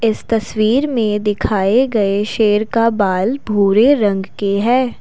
इस तस्वीर में दिखाये गए शेर का बाल भूरे रंग के है।